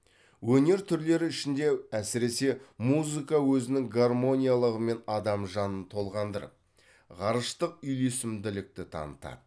өнер түрлері ішінде әсіресе музыка өзінің гармониялығымен адам жанын толғандырып ғарыштық үйлесімділікті танытады